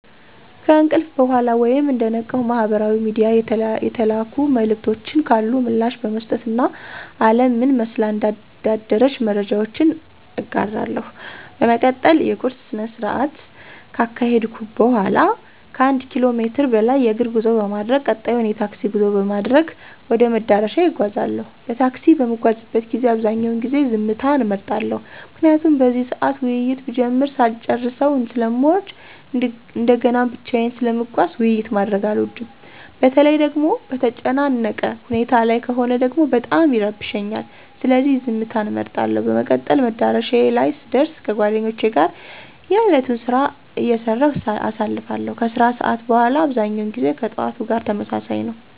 ከእንቅልፍ በኋላ ወይም እንደነቃው ማህበራዊ ሚድያ የተላኩ መልዕክቶች ካሉ ምላሽ በመስጠት እና አለም ምን መስላ እንዳደረች መረጃዎች እጋራለሁ። በመቀጠል የቁርስ ስነስርዓት ካካሄድኩ በኋላ ከአንድ ኪሎ ሜትር በላይ የእግር ጉዞ በማድረግ ቀጣዩን የታክሲ ጉዞ በማድረግ ወደ መዳረሻዬ እጓዛለሁ። በታክሲ በምጓዝበት ጊዜ አብዛኛውን ጊዜ ዝምታን እመርጣለሁ። ምክንያቱም በዚህ ሰዓት ውይይት ብጀምር ሳልጨረሰው ስለምወርድ እንደገናም ብቻየን ስለምጓዝ ውይይት ማድረግ አልወድም። በተለይ ደጎሞ በተጨናነቀ ሁኔታ ላይ ከሆነ ደግሞ በጣም ይረብሸኛል። ስለዚህ ዝምትን እመርጣለሁ። በመቀጠል መዳረሻዬ ላይ ስደር ከጓደኞቼ ጋር የእለቱን ስራ አይሰራሁ አሳልፋለሁ። ከስራ ሰዓት በኋላ አብዛኛው ጊዜ ከጥዋቱ ጋር ተመሳሳይ ነው።